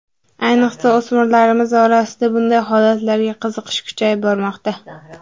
Ayniqsa, o‘smirlarimiz orasida bunday holatlarga qiziqish kuchayib bormoqda.